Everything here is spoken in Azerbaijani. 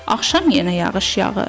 Axşam yenə yağış yağır.